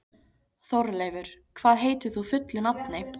Þórleifur, hvað heitir þú fullu nafni?